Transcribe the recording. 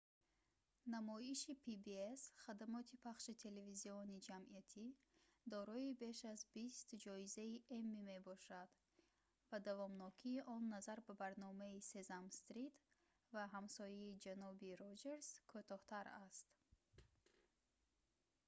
намоиши pbs хадамоти пахши телевизиони ҷамъиятӣ дорои беш аз бист ҷоизаи эмми мебошад ва давомнокии он назар ба барномаи сесам стрит ва ҳамсояи ҷаноби роҷерс кӯтоҳтар аст